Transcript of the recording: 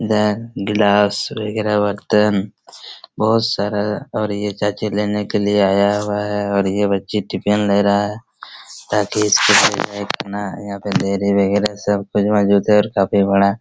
गिलास वगेरा बर्तन बहुत सारा और ये चाची लेने के लिए आया हुआ हैं और ये बच्ची टिफिन ले रहा हैं ताकि यहाँ पे डेयरी वगेरा सब कुछ मौजूद हैं और काफी बड़ा--